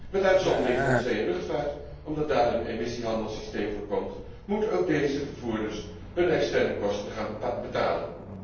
Met uitzondering van de zee en luchtvaart, omdat daar een emissiehandelssysteem voor komt, moeten ook deze vervoerders hun externe kosten gaan betalen.